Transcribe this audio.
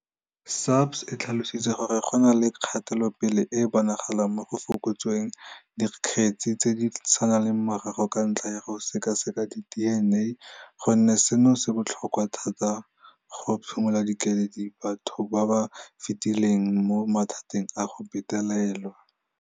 SAPS e tlhalositse gore go na le kgatelopele e e bonagalang mo go fokotseng dikgetse tse di saletseng morago ka ntlha ya go sekaseka di DNA, gonne seno se botlhokwa thata mo go phimoleng keledi batho ba ba fetileng mo mathateng a go betelelwa.